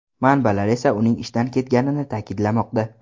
Manbalar esa uning ishdan ketganini ta’kidlamoqda.